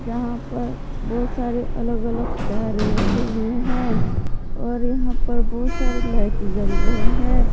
यहां पर बहोत सारे अलग अलग कारे रखे हुए है और यहां पर बहोत सारे लाइट जल रहे हैं।